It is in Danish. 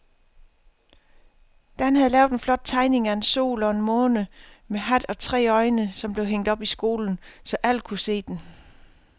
Dan havde lavet en flot tegning af en sol og en måne med hat og tre øjne, som blev hængt op i skolen, så alle kunne se den.